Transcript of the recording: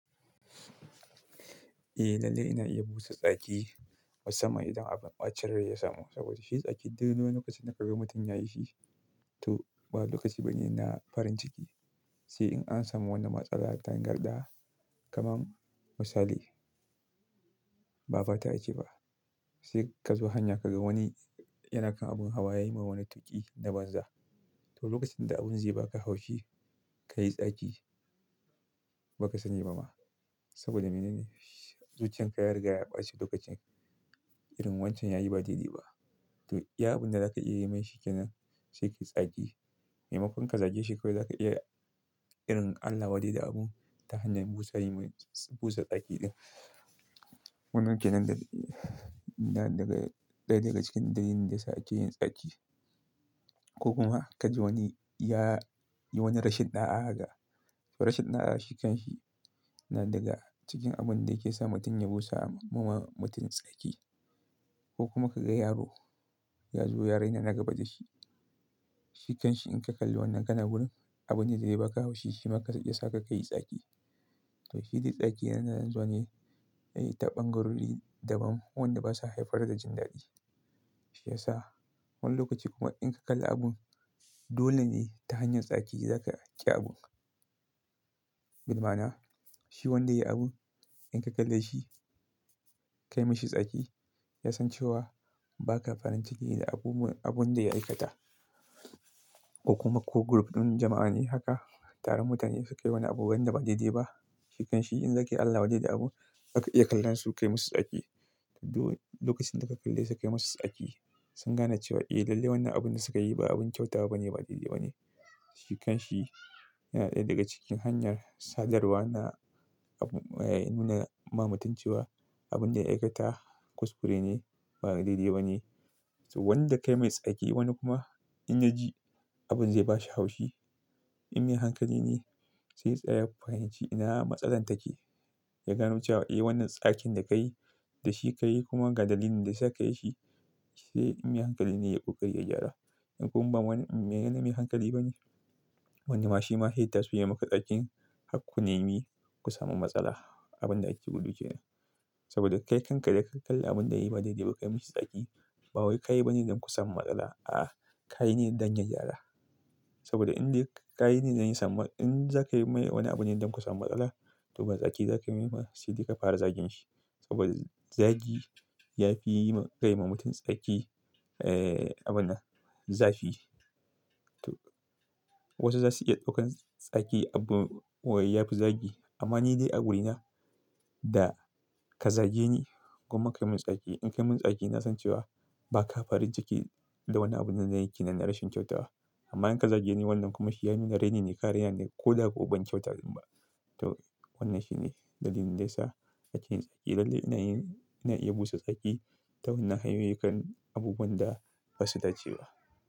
Eh, lalle ina iya busa tsaki wa sama idan abin ɓacin rai ya samu. Saboda shi tsaki dole ne kafin na kaga mutum yayi shi to ba lokaci bane ina farin ciki. Sai in an samu wanda matsala ta ngarɗa, kamar misali ba fata a ci ba. Sai kazo hanya kaga wani yana kan abun hawa yayi min wani tuƙi na banza. To lokacin da abun zai baka haushi ka yi tsaki ba ka sani ba ma. Saboda me ne? Zuciyar ka ya riga ya ɓaci lokacin irin wancan yayi ba daidai ba. To iya abun da za ka iya yi mai shi kenan sai ki tsaki. Maimakon ka zage shi kawai za ka iya irin allawade da abun ta hanyar busa, yi mai busa tsaki ɗin. Wannan kenan da daga ɗaya daga cikin dalilin da suke yin tsaki. Ko kuma ka ji wani ya yi wani rashin ɗa'a ga. To rashin ɗa'a shi kanshi na daga cikin abun da yake sa mutum ya busa wa mutum tsaki. Ko kuma ka ga yaro ya zo yaraina na gabatashi. Shi kanshi in ka kalli wannan kana wurin abun da zai baka haushi shi maka ya saka ka yi tsaki. To shi dai tsaki yana zane ta ɓangarori daban wanda basa haifar da jindaɗi. Shi yasa wani lokaci kuma in ka kalla abun dole ne ta hanyar tsaki za ka ajiye abun. Dalil mana shi wanda yayi abun in ka kalla shi kai mashi tsaki, ya san cewa ba ka farin ciki da abun da ya aikata. Ko kuma ko group ɗin jama'a ne haka, taron mutane suka yi wani abu wanda ba daidai ba. Shikanshi in zaka yi allawade da abun, aka iya kallon su kai musu tsaki. To lokacin da ka kalle su kai musu tsaki sun gane cewa eh lalle wannan abun da suka yi ba abun kyauta ba ne ba daidai ba ne. Shikanshi yana ɗaya daga cikin hanyar sadarwa na abu nuna ma mutum cewa abun da ya aikata kuskure ne ba daidai ba ne. To wanda ka yi mai tsaki wani kuma in ya ji abun zai bashi haushi, inda hankali ne sai tsara fahimci ina matsalar take. Ya gano cewa eh wannan tsakin da ka yi da shi ka yi kuma ga dalilin da ya sa ka yi shi sai inda hankali ne yaƙo kai ya gyara. In kuma ba wani yana mai hankali bane, wani ma shi ma ita su yi maka tsakin hakku ne me ku samu matsala abun da ake buɗucewa. Saboda kai kanka da ka kalli abun da yayi ba daidai ba ka yi mashi tsaki. Ba wai ka yi bane don ku samu matsala. A'a, ka yi ne don ya gyara. Saboda inda ka yi ne don ya samu in za ka yi mai wani abu ne don ku samu matsala to ba tsaki za ka yi mai ba sai dai ka fara zagin shi. Saboda zagi ya fi yi ma kai ma mutum tsaki, abun zafi. To wasu zasu iya ɗaukan tsaki abu waye ya fi zagi. Amma ni dai a wurina da ka zage ni kuma ka yi min tsaki. In ka yi min tsaki na san cewa ba ka farin ciki da wannan abun da na yi ke nan rashin kyautawa. Amma in ka zage ni wannan kuma shi ya nuna raini ne, ƙarya ne ko da akwai ban kyauta dinnan ba. To wannan shine dalilin da ya sa ake yin tsaki. Lalle ina yin ina iya busa tsaki ta wannan hanyoyi kan abubuwan da ba su dace ba.